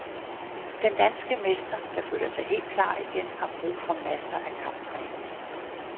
Den danske mester, der føler sig helt klar igen, har brug for masser af kamptræning.